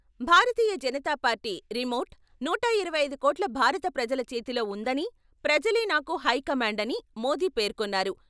భారతీయ Janata Party remote నూట ఇరవై ఐదు కోట్ల భారత ప్రజల చేతిలో ఉందని, ప్రజలే నాకు హైకమాండ్ అని మోది పేర్కొన్నారు.